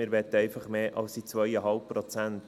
Wir wollen einfach mehr als diese 2,5 Prozent.